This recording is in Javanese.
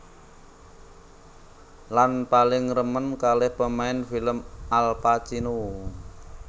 Lan paling remen kalih pemain film Al Pacino